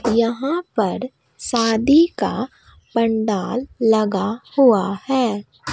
यहां पर शादी का पंडाल लगा हुआ है।